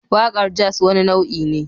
Waƙar jazz wani nau'i ne